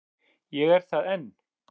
Ég er það enn.